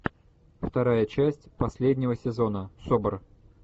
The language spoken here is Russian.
вторая часть последнего сезона собр